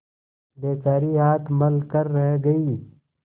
बेचारी हाथ मल कर रह गयी